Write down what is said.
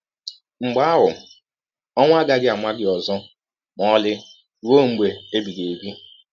Mgbe ahụ, ọwụ agaghị ama gị ọzọ ma ọlị rụọ mgbe ebighị ebi.